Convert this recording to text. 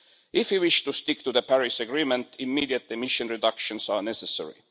If we wish to stick to the Paris Agreement, immediate emission reductions are necessary.